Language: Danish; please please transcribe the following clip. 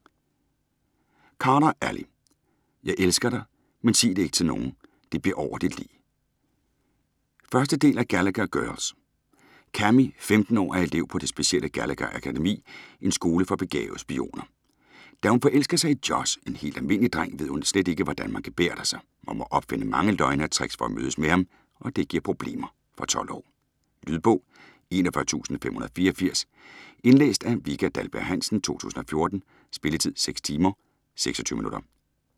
Carter, Ally: Jeg elsker dig, men sig det ik' til nogen - det bliver over dit lig 1. del af Gallagher girls. Cammie, 15 år, er elev på det specielle Gallagher-akademi, en skole for begavede spioner. Da hun forelsker sig i Josh, en helt almindelig dreng, ved hun slet ikke, hvordan man gebærder sig, og må opfinde mange løgne og tricks for at mødes med ham, og det giver problemer. Fra 12 år. Lydbog 41584 Indlæst af Vika Dahlberg-Hansen, 2014. Spilletid: 6 timer, 26 minutter.